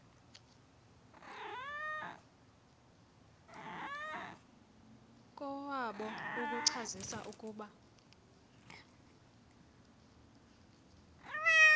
kowabo ukucacisa ukuba